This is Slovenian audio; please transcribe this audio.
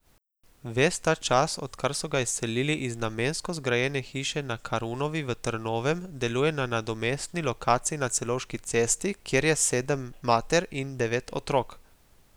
Ves ta čas, odkar so ga izselili iz namensko zgrajene hiše na Karunovi v Trnovem, deluje na nadomestni lokaciji na Celovški cesti, kjer je sedem mater in devet otrok.